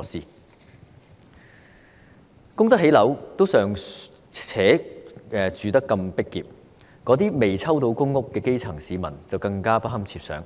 有能力供樓的，尚且居住得如此擠迫，那些尚未獲分配公屋的基層市民更不堪設想，